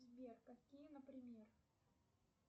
сбер какие например